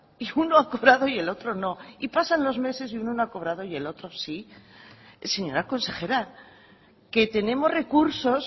y uno ha cobrado y el otro no y pasan los meses y uno no ha cobrado y el otro sí señora consejera que tenemos recursos